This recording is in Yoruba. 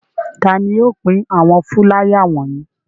Ta ni yóò pín àwọn fúláyà wọ̀nyí?